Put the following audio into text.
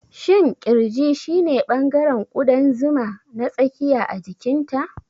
Shin ƙirji shine ɓangaren ƙudan zuma na tsakiya a jikinta?